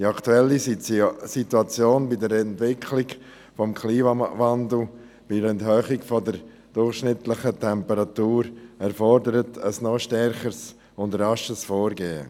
Die aktuelle Situation mit der Entwicklung des Klimawandels mit einer Erhöhung der durchschnittlichen Temperatur erfordert ein noch stärkeres und rascheres Vorgehen.